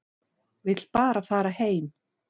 Vill bara fara heim.